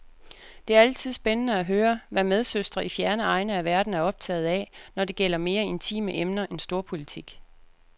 Det er altid spændende at høre, hvad medsøstre i fjerne egne af verden er optaget af, når det gælder mere intime emner end storpolitik.